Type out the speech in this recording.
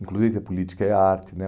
Inclusive, a política é arte, né?